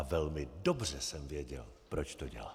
A velmi dobře jsem věděl, proč to dělám.